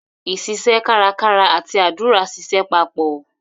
iṣiṣẹ́ kárakára àti àdúrà ṣiṣẹ́ papọ̀.